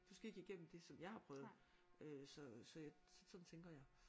Du skal ikke igennem det som jeg har prøvet øh så så sådan tænker jeg